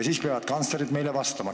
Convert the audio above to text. Siis peavad kantslerid meile vastama.